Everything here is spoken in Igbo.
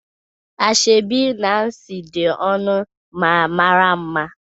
Ashebi Nancy dị ọnụ ma mara mma